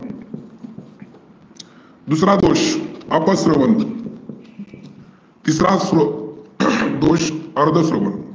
दुसरा दोष अपस्रवन तिसरा स्रोत दोष अर्ध स्रवन.